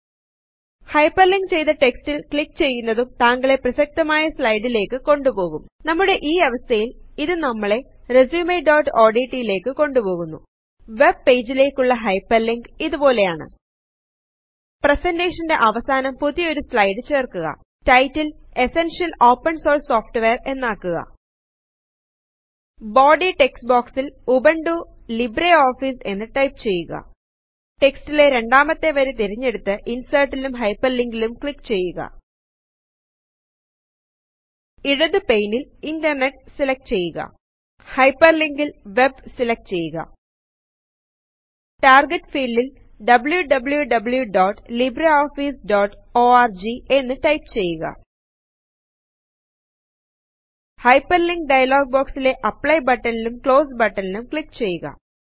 hyperlink ചെയ്തു റ്റെക്സ്റ്റിൽ click ചെയ്യുന്നതും താങ്കളെ പ്രസക്തമായ സ്ലായ്ടിലെക് കൊണ്ടുപോകും നമ്മുടെ ഈ അവസ്ഥയിൽ ഇത് നമ്മളെ resumeഓഡ്റ്റ് ലേക്ക് കൊണ്ട് പോകുന്നു വെബ് പേജിലേക്കുള്ള ഹൈപെർലിങ്ക് ഇതുപോലെയാണ് പ്രെസെന്റെഷന്റെ അവസാനം പുതിയൊരു സ്ലൈഡ് ചേർക്കുക title essential open source software എന്നാക്കുക ബോഡി ടെക്സ്റ്റ് ബോക്സിൽ ഉബുന്റു ലിബ്രെ ഓഫീസ് എന്ന് ടൈപ്പ് ചെയ്യുക ടെക്സ്റ്റിലെ രണ്ടാമത്തെ വരി തിരഞ്ഞെടുത്തു ഇൻസെർട്ടിലും ഹൈപെർലിങ്കിലും ക്ലിക്ക് ചെയ്യുക ഇടതു പെയ്നിൽ ഇന്റർനെറ്റ് സെലക്ട് ചെയ്യുക ഹൈപെർലിങ്കിൽ വെബ് സെലക്ട് ചെയ്യുക ടാർഗറ്റ് ഫീൽഡിൽ wwwlibreofficeorgഎന്ന് ടൈപ്പ് ചെയുക ഹൈപെർലിങ്ക് ഡയലോഗ് ബോക്സിലെ അപ്ലൈ ബട്ടനും ക്ലോസെ ബട്ടനും ക്ലിക്ക് ചെയ്യുക